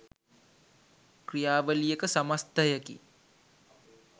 ක්‍රියාවලියක සමස්ථයකි.